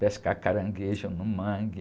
Pescar caranguejo no mangue.